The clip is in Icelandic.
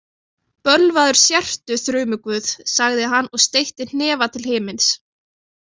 Bölvaður sértu, þrumuguð, sagði hann og steytti hnefa til himins.